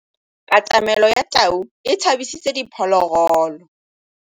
Katamêlô ya tau e tshabisitse diphôlôgôlô.